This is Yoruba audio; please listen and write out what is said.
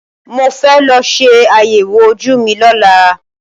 Mo fẹ́ lọ ṣe àyẹ̀wò ojú mi lọ́la.